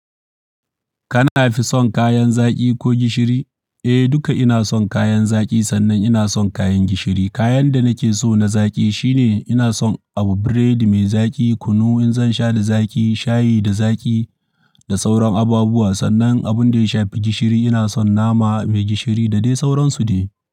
Kana fi son kayan zaƙi ko gishiri? Eh, duka ina son kayan zaƙi sannan ina son kayan gishiri. Kayan da nake so na zaƙi shine ina son abu buredi mai zaƙi, kunu in zan sha da zaƙi, shayi da zaƙi da sauran abubuwa. Sannan abun da ya shafi gishiri ina son nama mai gishiri da dai sauransu ne.